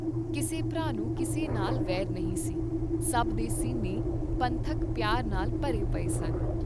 ਕਿਸੇ ਭਰਾ ਨੂੰ ਕਿਸੇ ਨਾਲ ਵੈਰ ਨਹੀਂ ਸੀ, ਸਭ ਦੇ ਸੀਨੇ ਪੰਥਕ ਪਿਆਰ ਨਾਲ ਭਰੇ ਪਏ ਸਨ।